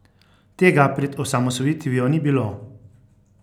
Tega pred osamosvojitvijo ni bilo!